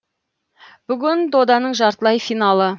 бүгін доданың жартылай финалы